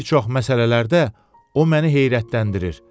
bir çox məsələlərdə o məni heyrətləndirir.